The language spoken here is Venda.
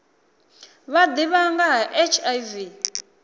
vha ḓivha nga ha hiv